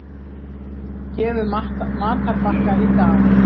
Gefur matarbakka í dag